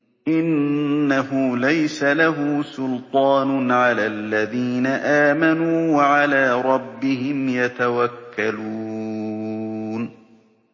إِنَّهُ لَيْسَ لَهُ سُلْطَانٌ عَلَى الَّذِينَ آمَنُوا وَعَلَىٰ رَبِّهِمْ يَتَوَكَّلُونَ